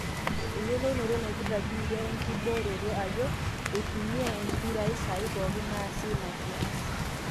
eyiolounoto napirta biitia enkibooroto ajo eitumia impirai saai pooki naasi ina kias